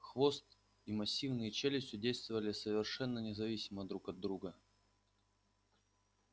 хвост и массивные челюсти действовали совершенно независимо друг от друга